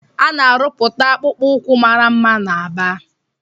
Ana arụputa akpụkpọ ukwu màrà mma na Aba.